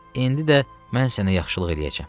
İndi də mən sənə yaxşılıq eləyəcəm.